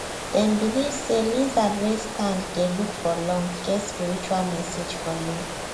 dem believe say lizard wey stand dey look for long get spiritual message for you